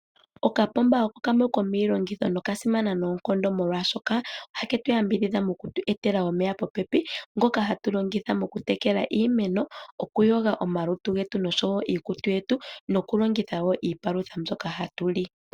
Okapomba oko kamwe komiilongitho noka simana noonkondo molwaashoka oha ketu yambidhidha moku tu e tala omeya popepi ngoka hatu longitha oku tekela iimeno, oku yoga omalutu getu noshowo iikutu yetu, noku longekidha iipalutha mbyoka hatu li